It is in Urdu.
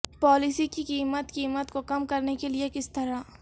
پالیسی کی قیمت قیمت کو کم کرنے کے لئے کس طرح